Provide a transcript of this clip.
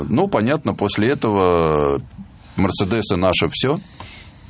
ну понятно после этого ээ мерседесы наше все